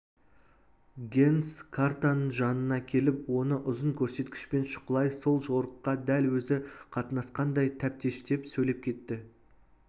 генс картаның жанына келіп оны ұзын көрсеткішпен шұқылай сол жорыққа дәл өзі қатынасқандай тәптештеп сөйлеп кетті